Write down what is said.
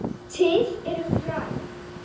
Til eru fræ.